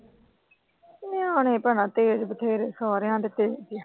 ਨਿਆਨੇ ਭੈਣੇ ਤੇਜ ਬਥੇਰੇ। ਸਾਰਿਆਂ ਦੇ ਤੇਜ ਆ।